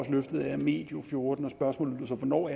at løftet er medio og fjorten spørgsmålet lød så hvornår